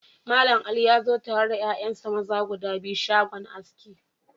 Mallam Ali ya zo tare da 'ya'yansa maza guda biyu shagon aski.